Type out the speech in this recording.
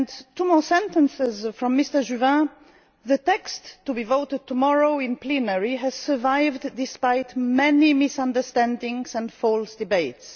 Two more sentences from Mr Juvin the text to be voted tomorrow in plenary has survived despite many misunderstandings and false